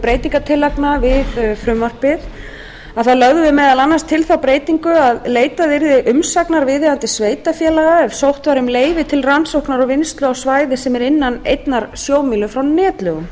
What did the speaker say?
við frumvarpið þá lögðum við meðal annars til þá breytingu að leitað yrði umsagnar viðeigandi sveitarfélaga ef sótt væri um leyfi til rannsóknar og vinnslu á svæði sem er innan einnar sjómílu frá netlögum